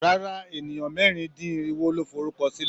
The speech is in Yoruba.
Rárá, ènìyàn mẹ́rin-dín-irinwo ló forúkọ sílẹ̀.